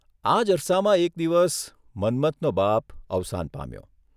આ જ અરસામાં એક દિવસ મન્મથનો બાપ અવસાન પામ્યો.